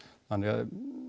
þannig að